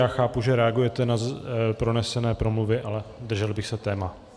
Já chápu, že reagujete na pronesené promluvy, ale držel bych se tématu.